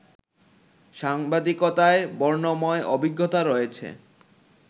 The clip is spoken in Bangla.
সাংবাদিকতায় বর্ণময় অভিজ্ঞতা রয়েছে